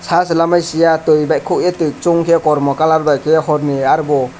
aro se lamai siya tui bai khokye tui chungkhe kormo colour bai khe horni arobo.